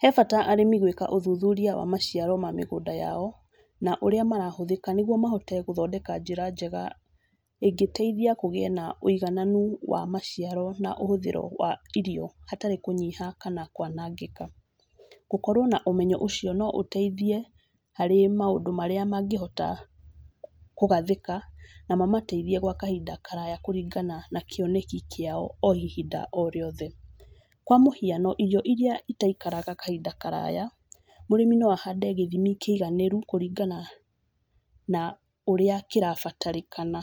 He bata arĩmi gwĩka ũthuthuria wa maciaro ma mĩgũnda yao, na ũrĩa marahũthĩka nĩguo mahote gũthondeka njĩra njega ĩngĩteithia kũgĩe na ũigananu wa maciaro na ũhũthĩro wa irio, hatarĩ kũnyiha kana kwanangĩka. Gũkorwo na ũmenyo ũcio no gũteithie harĩ maũndũ marĩa mangĩhota kũgathĩka na mamateithie gwa kahinda karaya kũringana na kĩoneki kĩao o ihinda o rĩothe. Kwa mũhiano irio irĩa itaikaraga kahinda karaya, mũrĩmi no ahande gĩthimi kĩiganĩru kũringana na ũrĩa kĩrabatarĩkana